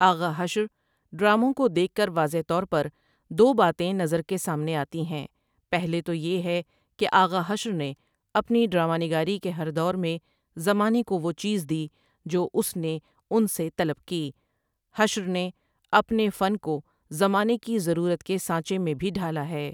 آغا حشر ڈراموں کو دیکھ کر واضح طور پر دو باتیں نظر کے سامنے آتی ہیں پہلی تو یہ ہے کہ آغا حشر نے اپنی ڈراما نگاری کے ہر دور میں زمانے کو وہ چیز دِی جو اُس نے اُن سے طلب کی حشر نے اپنے فن کو زمانے کی ضرورت کے سانچے میں بھی ڈھالا ہے ۔